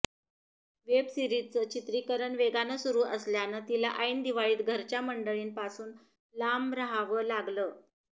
web सीरिजचं चित्रीकरण वेगानं सुरू असल्यानं तिला ऐन दिवाळीत घरच्या मंडळींपासून लांब राहावं लागलं